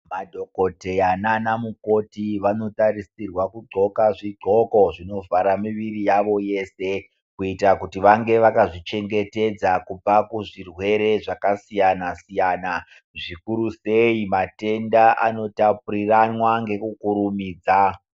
Madhogodheya nana mukoti anotarisirwa kudhloka zvidhloko zvinovhara muvirir yawo wese kuitira kuti vange vakazvichengetedza kubva kuzvirwere zvakasiyana siyana zvikuru sei matenda anotapuriranwa nekukurumidza.